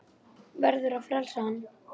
Verður að frelsa hann.